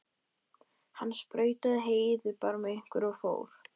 Benóný, ég kom með þrjátíu og fimm húfur!